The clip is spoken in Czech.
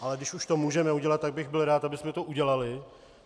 Ale když už to můžeme udělat, tak bych byl rád, abychom to udělali.